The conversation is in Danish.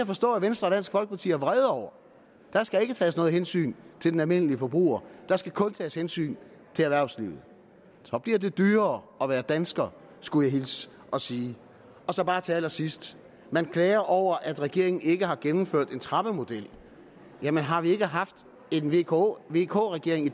forstå at venstre og dansk folkeparti er vrede over der skal ikke tages noget hensyn til den almindelige forbruger der skal kun tages hensyn til erhvervslivet så bliver det dyrere at være dansker skulle jeg hilse og sige til allersidst at man klager over at regeringen ikke har gennemført en trappemodel jamen har vi ikke haft en vk vk regering i